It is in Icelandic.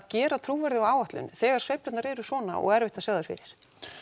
gera trúverðuga áætlun þegar sveiflurnar eru svona og erfitt að sjá þær fyrir